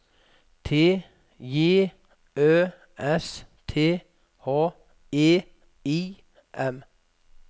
T J Ø S T H E I M